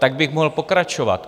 Tak bych mohl pokračovat.